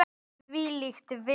Þvílíkt veður!